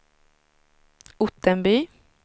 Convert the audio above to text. Ottenby